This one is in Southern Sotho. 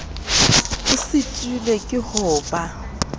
o sitilwe ke ho ba